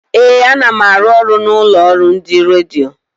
Ee, ana m arụ ọrụ n'ụlọ ọrụ ndị redio.